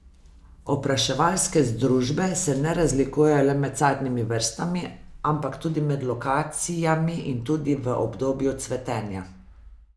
Opraševalske združbe se ne razlikujejo le med sadnimi vrstami, ampak tudi med lokacijami in tudi v obdobju cvetenja.